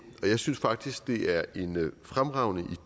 og jeg synes faktisk det er en fremragende